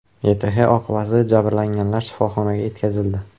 YTH oqibatida jabrlanganlar shifoxonaga yetkazildi.